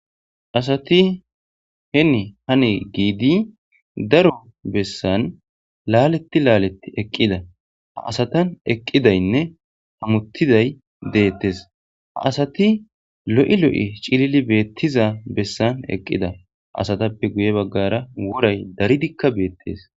asati hen hani giidi daro bessan laaleti laalet eqqida ha asatan eqqidaynne hamuttiday deettes a asati lo7i lo7e cilili beettiza bessan eqqida asatappe guye baggara woray daridikka beettes